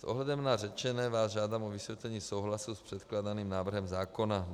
S ohledem na řečené vás žádám o vyslovení souhlasu s předkládaným návrhem zákona.